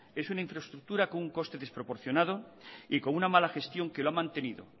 es una infraestructura con un coste desproporcionado y con una mala gestión que lo ha mantenido